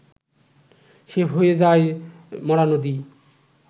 সে হয়ে যায় মরা নদী